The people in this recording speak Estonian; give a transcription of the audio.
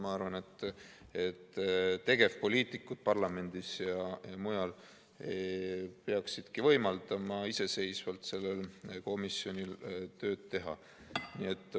Ma arvan, et tegevpoliitikud parlamendis ja mujal peaksidki võimaldama iseseisvalt sellel komisjonil tööd teha.